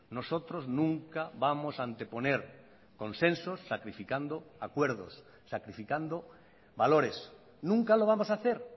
nosotros nunca vamos a anteponer consensos sacrificando acuerdos sacrificando valores nunca lo vamos a hacer